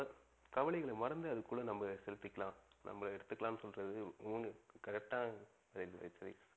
கவலைகள மறந்து அதுக்குள்ள நம்ப செளுதிகலாம் நம்ப எடுத்துக்கலாம் னு சொல்றது முணு correct ஆ